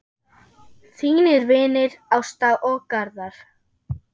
Þínir vinir Ásta og Garðar.